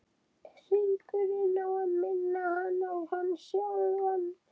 Hringurinn á að minna hana á hann sjálfan.